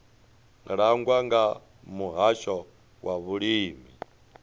langwa nga muhasho wa vhulimi